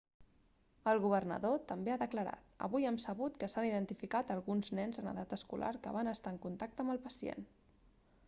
el governador també ha declarat avui hem sabut que s'han identificat alguns nens en edat escolar que van estar en contacte amb el pacient